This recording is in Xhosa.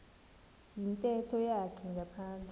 yintetho yakhe ngaphandle